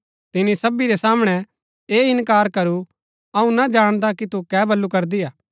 तिनी सबी रै सामणै ऐह इन्कार करू अऊँ ना जाणदा कि तु कै बल्लू करदी हा